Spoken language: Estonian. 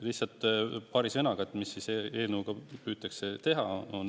Lihtsalt paari sõnaga, mis siis eelnõuga püütakse teha.